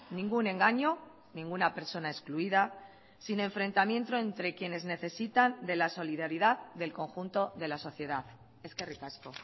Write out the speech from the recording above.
ningún engaño ninguna persona excluida sin enfrentamiento entre quienes necesitan de la solidaridad del conjunto de la sociedad eskerrik asko